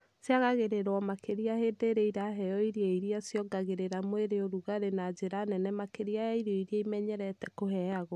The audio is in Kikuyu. Ciagagĩrĩrwo makĩria hĩndĩ ĩrĩa iraheo irio iria ciongagĩrĩra mwĩrĩ ũrugarĩ na njĩra nene makĩria ya irio iria imenyerete kũheagwo.